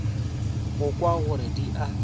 go kwa gore di a